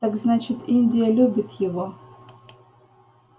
так значит индия любит его